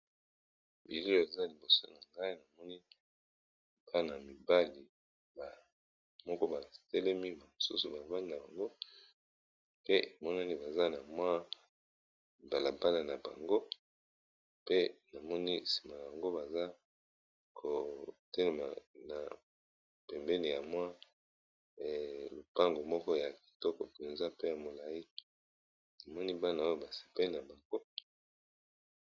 Bilili oza liboso na ngai na moni bana mibali moko batelemi bamosusu balabani na bango pe monani baza na mwa balabana na bango pe namoni nsima bango baza kotelema na pembene ya mwa lopango moko ya kitoko mpenza pe ya molaik namoni bana oyo basepeli na bango.